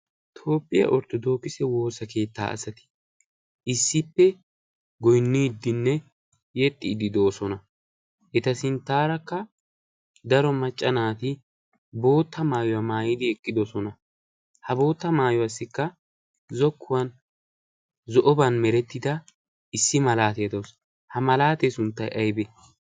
tooppiyaa orttodookise woosa keettaa asati issippe goinniiddinne yexxiiddi de7osona eta sinttaarakka daro maccanaati bootta maayuwaa maayidi eqqidosona. ha bootta maayuwaassikka zokkuwan zo'oban merettida issi malaatee doosona. ha malaatee sunttay aybe?